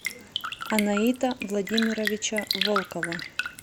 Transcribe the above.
анаита владимировича волкова